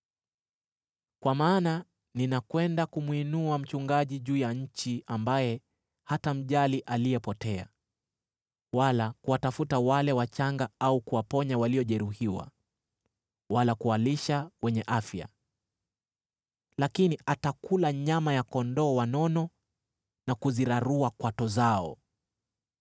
Kwa maana ninakwenda kumwinua mchungaji juu ya nchi ambaye hatamjali aliyepotea, wala kuwatafuta wale wachanga au kuwaponya waliojeruhiwa, wala kuwalisha wenye afya, lakini atakula nyama ya kondoo wanono na kuzirarua kwato zao.